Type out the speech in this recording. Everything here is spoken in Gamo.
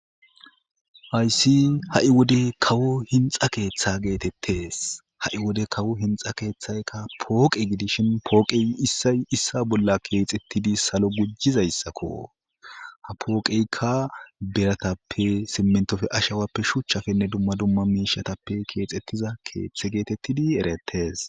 Hayssi ha'i wode kawo hinxa keththa gettetes ha'i wode kawo hinxa keththayikka poqe gidishshin poqey issay issa bolla kexetidi salo gujizayssakko ha poqeykka biratappe simintoppe ahawappe shuchchapenne dumma dumma mishshatappe kexetiza keththe getetid eretes